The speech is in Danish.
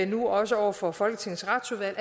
nu også over for folketingets retsudvalg